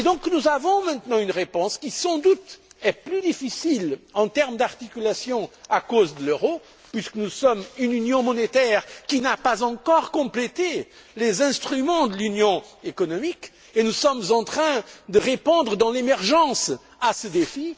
Nous avons donc maintenant une réponse qui, sans doute, est plus difficile en termes d'articulation à cause de l'euro, puisque nous sommes une Union monétaire qui n'a pas encore complété les instruments de l'Union économique et nous sommes en train de répondre dans l'urgence à ce défi.